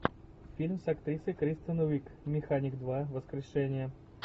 фильм с актрисой кристен уиг механик два воскрешение